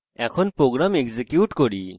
এখন program execute করি